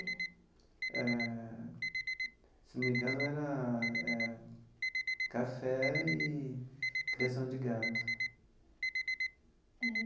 Eh se não me engano, era eh café e criação de gado. É.